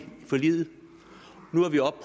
forliget nu er vi oppe